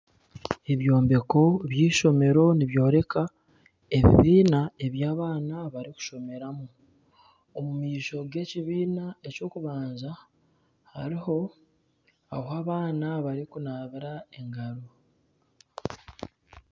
Ebyombeko by'eishomero nibyoreka ebibiina eby'abaana barikushomeramu. Omu maisho g'ekibiina eky'okubanza hariho ahu abaana barikunabira engaro.